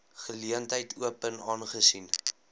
geleentheid open aangesien